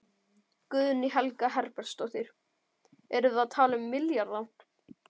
Guðný Helga Herbertsdóttir: Erum við að tala um milljarða?